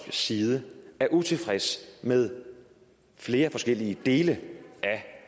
side er utilfreds med flere forskellige dele af